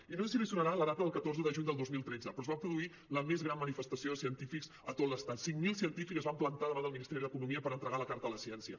i no sé si li sonarà la data del catorze de juny del dos mil tretze però es va produir la més gran manifestació de científics a tot l’estat cinc mil científics es van plantar davant del ministeri d’economia per en·tregar la carta per la ciència